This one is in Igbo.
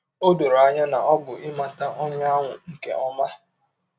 Ọ dọrọ anya na ọ bụ ịmata ọnye ahụ nke ọma.